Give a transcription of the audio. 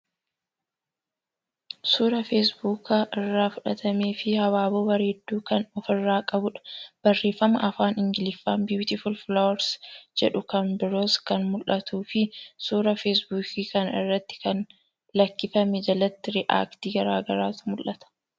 Suuraa Facebook irraa fudhatamee fii habaaboo bareedduu kan ofirraa qabuudha. Barreeffama afaan Ingiliffaa Beautiful flowers jedhuu kan biroos kan mul'atuu fii suuraa Facebook kana irratti gad lakkifame jalatti react garagaraatu mul'ata.